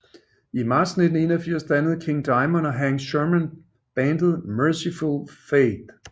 I marts 1981 dannede King Diamond og Hank Shermann bandet Mercyful Fate